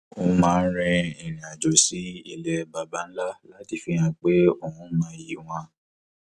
ó máa ń rin irinàjò sí ilẹ baba ńlá láti fihan pé òun mọyì wọn